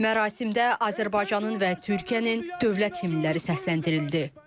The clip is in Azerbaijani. Mərasimdə Azərbaycanın və Türkiyənin dövlət himnləri səsləndirildi.